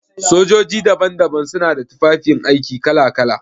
Sojoji daban-daban su na da tufafi aiki kala-kala.